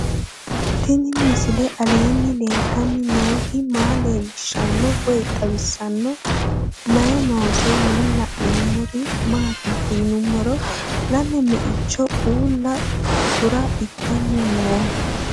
Tenni misile aleenni leelittanni nootti maa leelishshanno woy xawisannori may noosse yinne la'neemmori maattiya yinummoro lame me'icho uulla kura ittanni noo